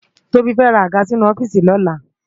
Tobi fè rá ágà sinú òfìsí lòlá